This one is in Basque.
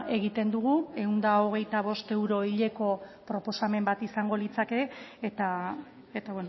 egiten dugu ehun eta hogeita bost euro hileko proposamen bat izango litzateke eta